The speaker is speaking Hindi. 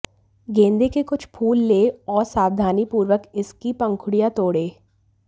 गेंदे के कुछ फूल लें और सावधानीपूर्वक इसकी पंखुड़ियां तोड़ें